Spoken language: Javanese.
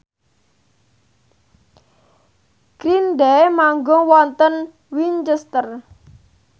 Green Day manggung wonten Winchester